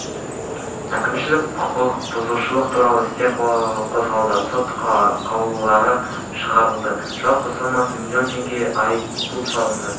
әкімшілік құқық бұзушылықтар туралы істер қозғалды сот қаулылары шығарылды жалпы сомасы млн теңге айыппұл салынды